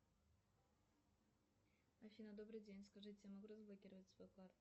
афина добрый день скажите я могу разблокировать свою карту